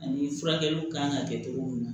Ani furakɛliw kan ka kɛ cogo min na